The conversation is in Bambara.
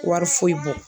Wari foyi bɔ